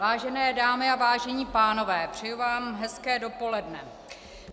Vážené dámy a vážení pánové, přeju vám hezké dopoledne.